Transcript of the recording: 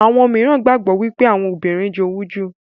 àwọn míràn gbagbọ wipe Àwọn obìrin jowú jù.